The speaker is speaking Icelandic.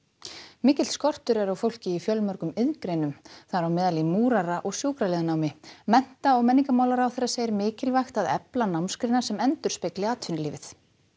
mikill skortur er á fólki í fjölmörgum iðngreinum þar á meðal í múrara og sjúkraliðanámi mennta og menningarmálaráðherra segir mikilvægt að efla námsgreinar sem endurspegli atvinnulífið